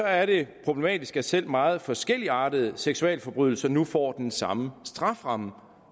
er det problematisk at selv meget forskelligartede seksualforbrydelser nu får den samme strafferamme